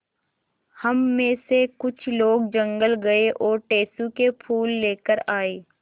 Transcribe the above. हम मे से कुछ लोग जंगल गये और टेसु के फूल लेकर आये